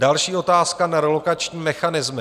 Další - otázka na relokační mechanismy.